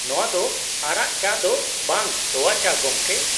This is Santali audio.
ᱱᱚᱶᱟ ᱫᱚ ᱟᱨᱟᱜ ᱪᱟ ᱫᱚ ᱵᱟᱝ ᱛᱳᱣᱟ ᱪᱟ, ᱜᱚᱝᱠᱮ ?